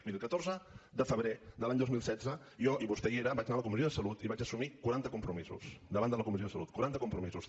miri el catorze de febrer de l’any dos mil setze jo i vostè hi era vaig anar a la comissió de salut i vaig assumir quaranta compromisos davant de la comissió de salut quaranta compromisos